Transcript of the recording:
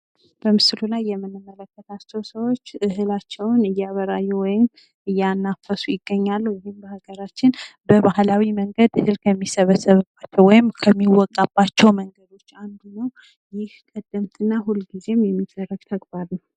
በምስሉ ላይ የምንመለከታቸው ሰዎች እህላቸውን እያበራዩ ወይም እያናፈሱ ይገኛሉ ።ይህም በሀገራችን በባህላዊ መንገድ እህል ከሚሰበሰብበት ወይም ከሚወቃበቸው መንገዶች አንዱ ነው። ይህ ቀደምት እና ሁልጊዜ የሚደረግ ተግባር ነው ።